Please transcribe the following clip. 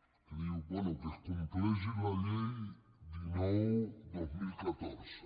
que dius bé que es compleixi la llei dinou dos mil catorze